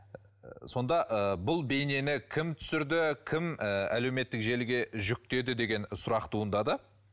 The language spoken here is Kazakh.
сонда ы бұл бейнені кім түсірді кім ы әлеуметтік желіге жүктеді деген сұрақ туындады